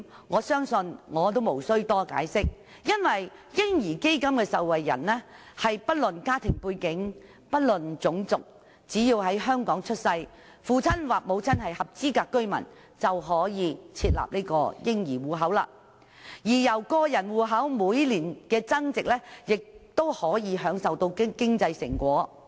我相信這點我不用多作解釋，因為"嬰兒基金"的受惠人是不論家庭背景，不論種族，只要在香港出世，父親或母親是合資格居民，便可以開設嬰兒戶口，而個人戶口每年的增值，戶口持有人亦可以享受經濟成果。